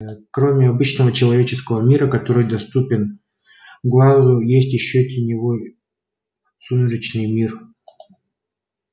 кроме обычного человеческого мира который доступен глазу есть ещё теневой сумеречный мир